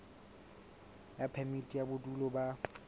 ya phemiti ya bodulo ba